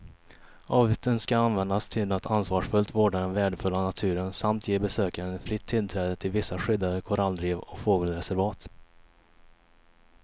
Avgiften ska användas till att ansvarsfullt vårda den värdefulla naturen samt ge besökaren fritt tillträde till vissa skyddade korallrev och fågelreservat.